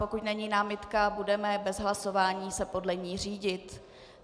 Pokud není námitka, budeme se bez hlasování podle ní řídit.